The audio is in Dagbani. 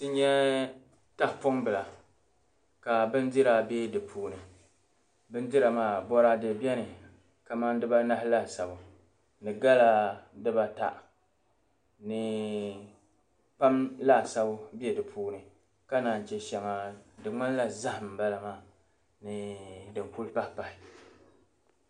N nya tahapɔmbila ka bindira be di puuni. Bindira maa bɔraade beni kamani dibaanahi laasabu ni gala dibaata ni kpaam laasabu be di puuni ka naan yi che shɛŋa di ŋmanila zahim m-bala maa ni din kuli pahipahi.